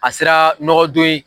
A sera nɔgɔdon ye.